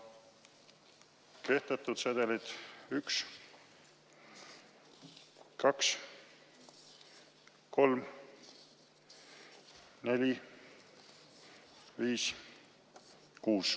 Kehtetud sedelid: 1, 2, 3, 4, 5, 6.